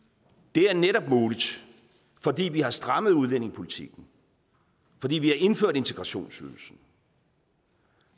det er netop muligt fordi vi har strammet udlændingepolitikken fordi vi har indført integrationsydelsen